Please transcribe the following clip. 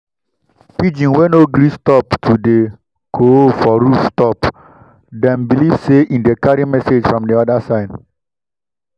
pigeon wey no gree stop to dey coo for rooftop dem believe say e dey carry message from the other side.